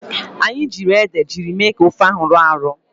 Anyị jiiri ede jiri mee ka ofe ahụ rọọ arọọ.